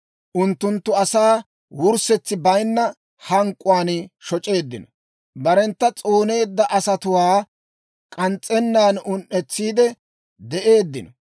Unttunttu asaa wurssetsi bayinna hank'k'uwaan shoc'eeddino. Barentta s'ooneedda asatuwaa k'ans's'ennan un"etsiide de'eeddino.